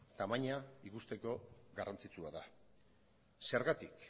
tamaina ikusteko garrantzitsua da zergatik